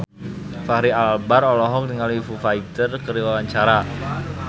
Fachri Albar olohok ningali Foo Fighter keur diwawancara